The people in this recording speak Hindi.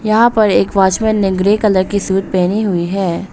वहां पर एक वॉचमैन ने ग्रे कलर की सूट पहनी हुई है।